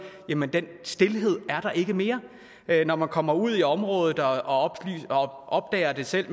jamen den stilhed er der ikke mere når man kommer ud i området og opdager det selv